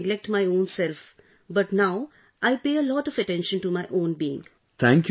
I used to earlier neglect my own self but now I pay a lot of attention to my own being